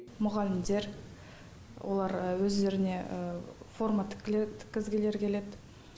мұғалімдер олар өздеріне форма тіккізгілері келеді